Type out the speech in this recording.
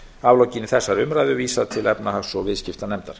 aflokinni þessari umræðu vísað til efnahags og viðskiptanefndar